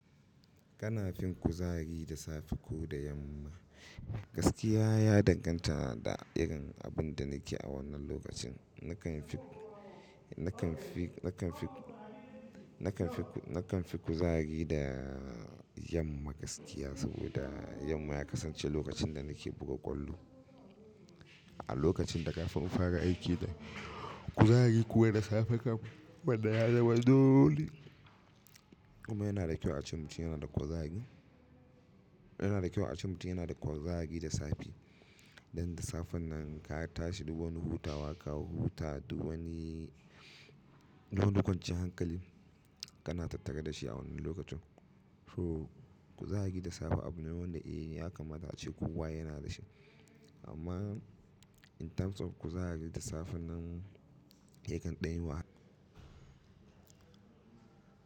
Kana fin kuzari da safe ko da yamma. Gaskiya ya danganta da irin abun da nake a wannan lokacin. Nakan fi, nakan fi, nakan fi, nakan fi kuzari da yamma gaskiya saboda yamma ya kasance lokacin da nike buga ƙwallo. A lokacin da kafin in fara aiki da kuzari kuwa da safe kafin, wannan ya zama dole amma yana da kyau a ce mutum yana da kuzari, yana da kyau a ce mutum yana da kuzari da safe. Dan da safe nan ka tashi duk wani hutawa ka huta duk wani, duk wani kwanciyar hankali kana tattare da shi a wannan lokacin. So kuzari da safe abu ne wanda eh ya kamata a ce kowa yana da shi. Amman in terms of kuzari da safen nan, yakan ɗan yi wahala.